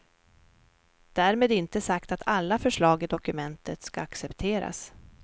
Därmed inte sagt att alla förslag i dokumentet skall accepteras.